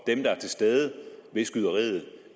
dem der er til stede ved skyderiet